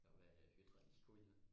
Og hvad er hydralikolie?